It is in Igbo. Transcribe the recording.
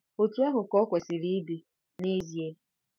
Otú ahụ ka o kwesịrị ịdị, n'ezie.